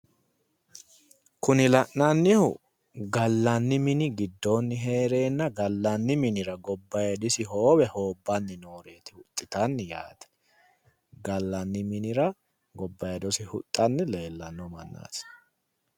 Kuni la'nannihu gallanni mini giddoonni heereenna gallanni minira gobbayidisi hoowe hoobbanni nooreeti huxxitannu yaaate. Gallanni minira gobbayidosi huxxanni leellanno mannaati yaate.